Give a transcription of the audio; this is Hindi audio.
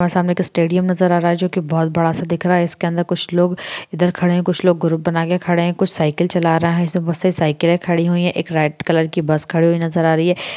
और सामने एक स्टेडियम नजर आ रहा है जो की बहुत बड़ा-सा दिख रहा है इसके अन्दर कुछ लोग इधर खड़े हैं कुछ लोग ग्रुप बनाके खड़े है कुछ लोग साइकिल चला रहा है साइकिले खड़ी है एक रेड कलर की बस खड़ी हुई नजर आ रही है।